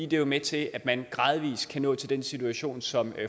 det er med til at man gradvis kan nå til den situation som